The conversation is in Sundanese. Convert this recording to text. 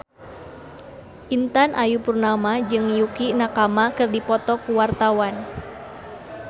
Intan Ayu Purnama jeung Yukie Nakama keur dipoto ku wartawan